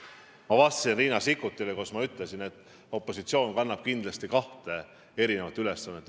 Ma vastasin Riina Sikkutile, öeldes, et opositsioon kannab kindlasti kahte ülesannet.